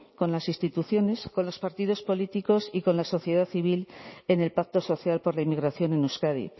con las instituciones con los partidos políticos y con la sociedad civil en el pacto social por la inmigración en euskadi